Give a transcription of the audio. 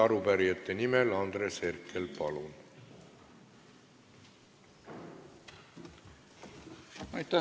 Arupärijate nimel Andres Herkel, palun!